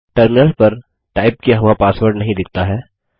terminal पर type किया हुआ पासवर्ड नहीं दिखता है